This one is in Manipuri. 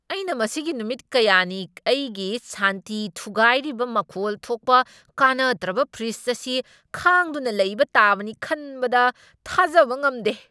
ꯑꯩꯅ ꯃꯁꯤꯒꯤ ꯅꯨꯃꯤꯠ ꯀꯌꯥꯅꯤ ꯑꯩꯒꯤ ꯁꯥꯟꯇꯤ ꯊꯨꯒꯥꯢꯔꯤꯕ ꯃꯈꯣꯜ ꯊꯣꯛꯄ, ꯀꯥꯟꯅꯗ꯭ꯔꯕ ꯐ꯭ꯔꯤꯖ ꯑꯁꯤ ꯈꯥꯡꯗꯨꯅ ꯂꯩꯕ ꯇꯥꯕꯅꯤ ꯈꯟꯕꯗ ꯊꯥꯖꯕ ꯉꯝꯗꯦ!